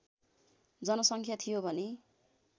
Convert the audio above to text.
जनसङ्ख्या थियो भने